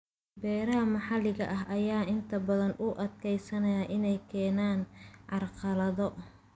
Beeraha maxalliga ah ayaa inta badan u adkeysanaya inay keenaan carqalado.